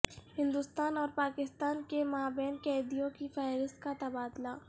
ہندوستان اور پاکستان کے مابین قیدیوں کی فہرست کا تبادلہ